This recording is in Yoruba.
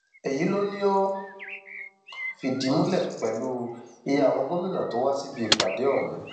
èyí ló ní ó fìdí múlẹ pẹlú iye àwọn gómìnà tó wá síbi ìpàdé ọhún